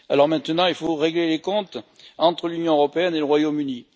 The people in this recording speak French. Maintenant, il faut régler les comptes entre l'Union européenne et le Royaume Uni.